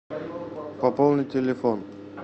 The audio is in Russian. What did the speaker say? пополнить телефон